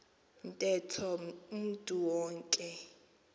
ntetho umntu wonke